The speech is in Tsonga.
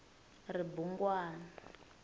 ribungwani